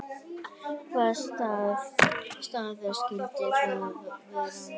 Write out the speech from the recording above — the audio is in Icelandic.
Hvaða staða skyldi það vera?